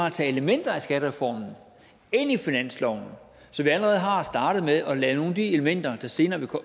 at tage elementer af skattereformen ind i finansloven så vi allerede har startet med at lade nogle af de elementer der senere